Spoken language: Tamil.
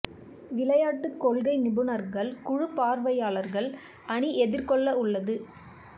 விளையாட்டு கொள்கை நிபுணர்கள் குழு பார்வையாளர்கள் அணி எதிர்கொள்ள உள்ளது